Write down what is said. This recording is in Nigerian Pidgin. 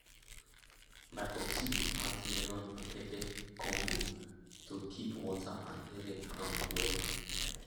my popsi dey plant melon and pepper combo to keep water and helep ground wella